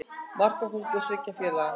Markakóngur þriggja félaga